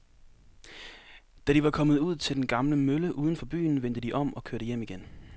Da de var kommet ud til den gamle mølle uden for byen, vendte de om og kørte hjem igen.